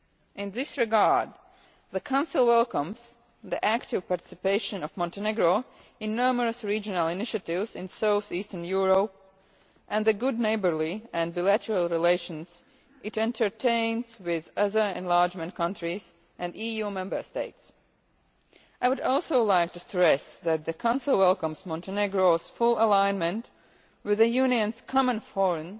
In this regard, the Council welcomes the active participation of Montenegro in numerous regional initiatives in South-Eastern Europe and the good neighbourly and bilateral relations it entertains with other enlargement countries and EU Member States. I would also like to stress that the Council welcomes Montenegro's full alignment with the Union's Common Foreign